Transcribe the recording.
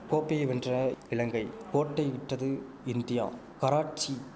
கோப்பையை வென்ற இலங்கை கோட்டைவிட்டது இந்தியா கராட்சி